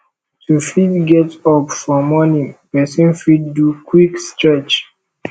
to fit get up for morning person fit do quick stretch